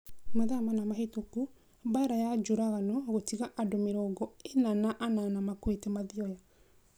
Mathaa mana mahĩtũku Mbaara nĩ njũragano gũtiga andũ mĩrongo ina na inana makuĩte Mathioya